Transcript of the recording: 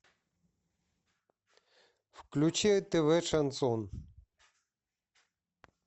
включи тв шансон